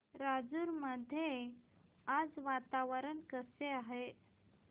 राजूर मध्ये आज वातावरण कसे आहे